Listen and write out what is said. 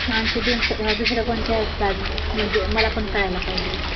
मग आणखी दुसऱ्या कुठल्या आहेत का अजून म्हणजे मला पण कळायला पाहिजे